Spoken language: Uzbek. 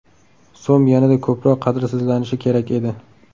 So‘m yanada ko‘proq qadrsizlanishi kerak edi!